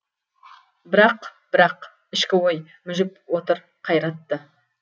бірақ бірақ ішкі ой мүжіп отыр қайратты